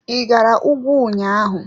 I gara ùgwù ụnyaahụ.